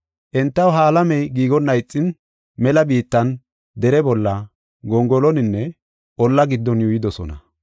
Entaw ha alamey giigonna ixin mela biittan, dere bolla, gongoloninne olla giddon yuuyidosona.